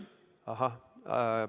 Ahah!